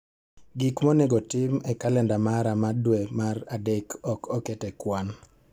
Gik ma onego otim e kalenda mara ma dwe mar adek ok oket e kwan